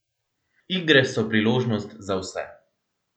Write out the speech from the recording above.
Igre so priložnost za vse.